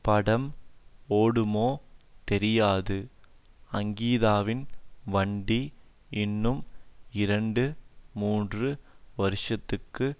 படம் ஓடுமோ தெரியாது அங்கீதாவின் வண்டி இன்னும் இரண்டு மூன்று வருஷத்துக்கு